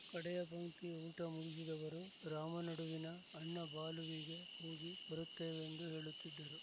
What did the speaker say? ಕಡೆಯ ಪಂಕ್ತಿ ಊಟ ಮುಗಿಸಿದವರು ರಾಮ ನಡುವಿನ ಅಣ್ಣ ಬಾಲುವಿಗೆ ಹೋಗಿ ಬರುತ್ತೇವೆಂದು ಹೇಳುತ್ತಿದ್ದರು